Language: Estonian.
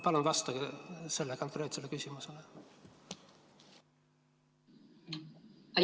Palun vastake sellele konkreetsele küsimusele!